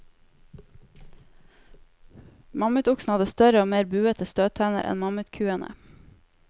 Mammutoksene hadde større og mer buete støttenner enn mammutkuene.